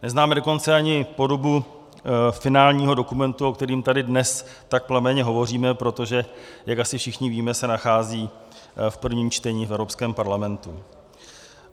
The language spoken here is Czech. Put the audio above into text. Neznáme dokonce ani podobu finálního dokumentu, o kterém tady dnes tak plamenně hovoříme, protože, jak asi všichni víme, se nachází v prvním čtení v Evropském parlamentu.